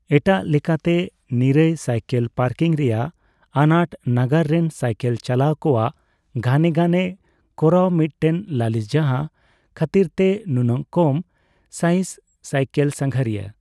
ᱮᱴᱟᱜ ᱞᱮᱠᱟᱛᱮ, ᱱᱤᱨᱟᱹᱭ ᱥᱟᱭᱠᱮᱞ ᱯᱟᱨᱠᱤᱝ ᱨᱮᱭᱟᱜ ᱟᱱᱟᱴ ᱱᱟᱜᱟᱨ ᱨᱮᱱ ᱥᱟᱭᱠᱮᱞ ᱪᱟᱞᱟᱣ ᱠᱚᱣᱟᱜ ᱜᱷᱟᱱᱮ ᱜᱷᱟᱱᱮ ᱠᱚᱨᱟᱣ ᱢᱤᱫᱴᱮᱱ ᱞᱟᱹᱞᱤᱥ ᱡᱟᱦᱟᱸ ᱠᱷᱟᱹᱛᱤᱨᱛᱮ ᱱᱩᱱᱟᱹᱜ ᱠᱚᱢ ᱥᱟᱭᱦᱤᱸᱥ ᱥᱟᱭᱠᱮᱞ ᱥᱟᱸᱜᱷᱟᱨᱤᱭᱟ ᱾